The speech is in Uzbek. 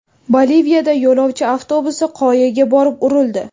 Boliviyada yo‘lovchi avtobusi qoyaga borib urildi.